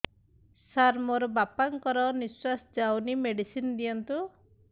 ସାର ମୋର ବାପା ଙ୍କର ନିଃଶ୍ବାସ ଯାଉନି ମେଡିସିନ ଦିଅନ୍ତୁ